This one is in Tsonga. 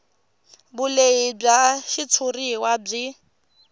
vulehi bya xitshuriwa byi